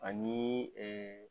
Ani